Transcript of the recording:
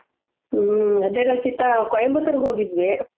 ಹ್ಮ ಅದೇ ರಚಿತ ಕೊಯಿಮತ್ತುರ್ ಹೋಗಿದ್ವಿ .